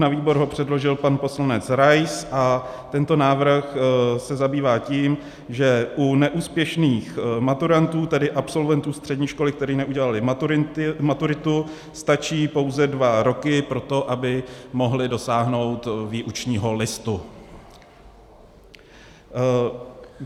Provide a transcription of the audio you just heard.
Na výbor ho předložil pan poslanec Rais a tento návrh se zabývá tím, že u neúspěšných maturantů, tedy absolventů střední školy, kteří neudělali maturitu, stačí pouze dva roky pro to, aby mohli dosáhnout výučního listu.